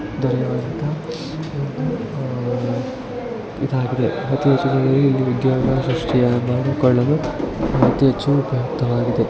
ಇದರಲ್ಲಿ ಇದಾಗಿದೆ ಇದರಲ್ಲಿ ಅತಿ ಹೆಚ್ಚು